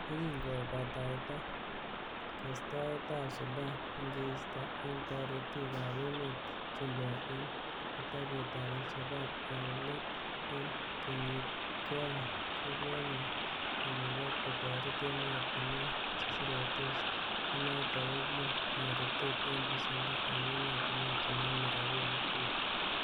Yekin kobataita kostoetab Sudan, ingeisto en toretik ab emetab chumbek en kitabutab alshabaab en let en kenyitkonye, kokonyor kamuget kotoret emotinwek cheseretos, nenoton kokin toretet ab besendo en emotinwek chenome rabinik tuten